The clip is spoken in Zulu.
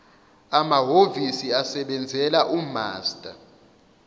amahhovisi asebenzela umaster